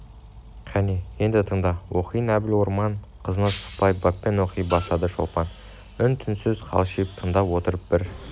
қане енді тыңда оқиын әбіл орман қызынасықпай баппен оқи бастады шолпан үн-түнсіз қалшиып тыңдап отырып бір